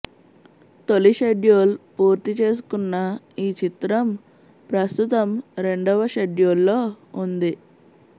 తొలి షెడ్యూల్ పూర్తిచేసుకున్న ఈ చిత్రం ప్రస్తుతం రెండవ షెడ్యూల్లో ఉంది